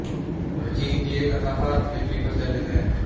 ਚੀਨ ਦੀ ਇਹ ਕਥਾ ਭਾਰਤ ਵਿੱਚ ਵੀ ਪ੍ਰਚਲਿਤ ਹੈ